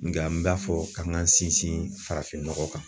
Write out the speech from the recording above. Nga n m'a fɔ k'an k'an sinsin farafin nɔgɔ kan.